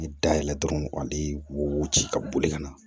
Dayɛlɛn dɔrɔn ka wuguti ka boli ka na